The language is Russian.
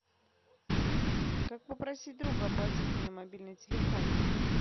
как попросить друга оплатить мне мобильный телефон